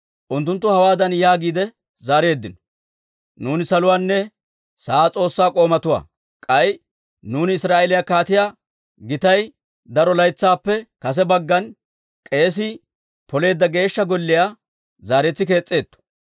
«Unttunttu hawaadan yaagiide zaareeddino; ‹Nuuni saluwaanne sa'aa S'oossaa k'oomatuwaa; k'ay nuuni Israa'eeliyaa kaatiyaa gitay daro laytsaappe kase baggan kees's'i poleedda Geeshsha Golliyaa zaaretsi kees's'etto.